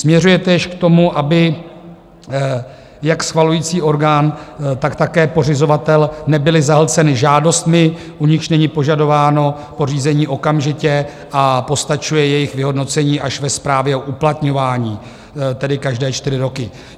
Směřuje též k tomu, aby jak schvalující orgán, tak také pořizovatel nebyly zahlceny žádostmi, u nichž není požadováno pořízení okamžitě a postačuje jejich vyhodnocení až ve správě o uplatňování, tedy každé čtyři roky.